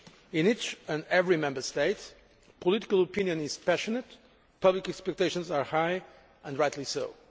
In each and every Member State, political opinion is passionate, public expectations are high, and rightly so.